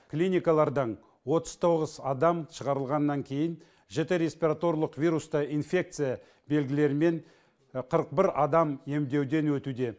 клиникалардан отыз тоғыз адам шығарылғаннан кейін жіті респираторлық вирусты инфекция белгілерімен қырық бір адам емдеуден өтуде